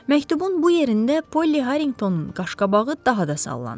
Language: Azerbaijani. Məktubun bu yerində Polli Harriqtonun qaşqabağı daha da sallandı.